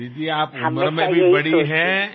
దీదీ మీరు వయసులోనూ పెద్దవారే